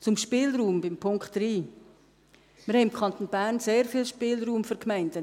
Zum Spielraum beim Punkt 3: Wir haben im Kanton Bern im Bereich der Lehrmittel sehr viel Spielraum für die Gemeinden.